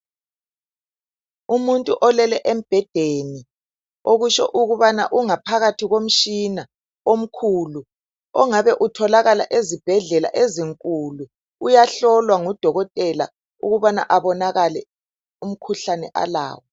Umuntu olele embhedeni okutsho ukubana ungaphakathi komtshina omkhulu ongabe utholakala ezibhedlela ezinkulu, uyahlolwa ngudokotela ukubana abonakale umkhuhlane alawo.